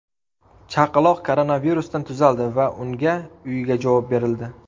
Chaqaloq koronavirusdan tuzaldi va unga uyiga javob berildi.